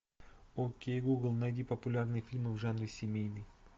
окей гугл найди популярный фильм в жанре семейный